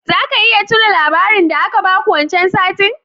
Zaka iya tuna labarin da aka baku wancan satin?